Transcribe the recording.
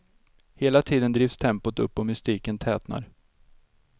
Hela tiden drivs tempot upp och mystiken tätnar.